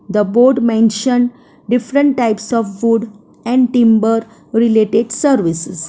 The board mention different types of food and timber related services.